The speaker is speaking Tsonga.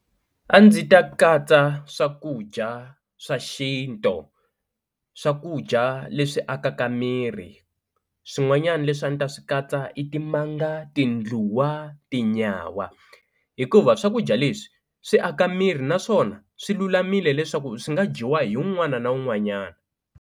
A ndzi ta katsa swakudya swa xintu, swakudya leswi akaka miri swin'wanyana leswi a ndzi ta swi katsa i timanga, tindluwa, tinyawa hikuva swakudya leswi swi aka miri naswona swi lulamile leswaku swi nga dyiwa hi wun'wana na wun'wanyana.